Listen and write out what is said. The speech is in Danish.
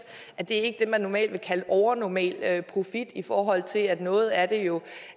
er det ikke det man normalt vil kalde overnormal profit i forhold til at noget af det jo